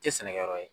Tɛ sɛnɛ yɔrɔ ye